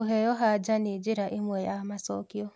kũheo hanja nĩ njĩra ĩmwe ya macokio